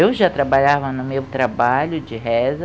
Eu já trabalhava no meu trabalho de reza,